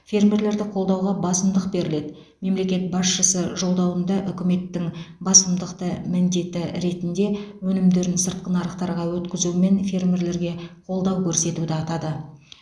фермерлерді қолдауға басымдық беріледі мемлекет басшысы жолдауында үкіметтің басымдықты міндеті ретінде өнімдерін сыртқы нарықтарға өткізумен фермерлерге қолдау көрсетуді атады